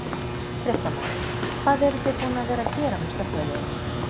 Fréttamaður: Hvað eruð þið búin að vera að gera með slökkviliðinu?